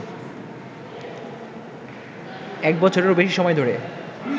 এক বছরেরও বেশি সময় ধরে